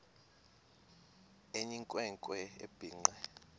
eyinkwe nkwe ebhinqe